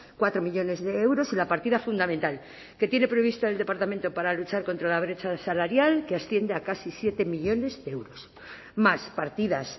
cuatro millónes de euros y la partida fundamental que tiene prevista el departamento para luchar contra la brecha salarial que asciende a casi siete millónes de euros más partidas